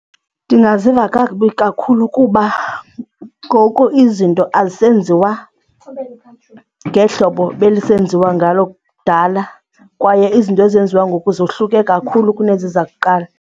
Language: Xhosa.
Ndingaziva kakubi kakhulu kuba ngoku izinto azisenziwa ngehlobo belisenziwa ngalo kudala kwaye izinto ezenziwa ngoku zohluke kakhulu kunezi zakuqala.